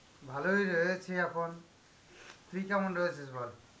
ভালোই রয়েছি এখন. তুই কেমন রয়েছিস বল?